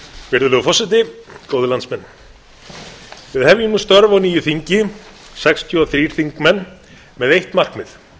góðir landsmenn við hefjum nú störf á nýju þingi sextíu og þrír þingmenn með eitt markmið